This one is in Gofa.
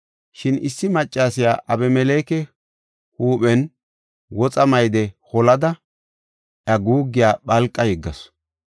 Shin issi maccasiya Abimeleke huuphen woxa mayde holada iya guuggiya phalqa yeggasu.